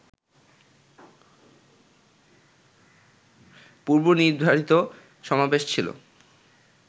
পূর্বনির্ধারিত সমাবেশ ছিল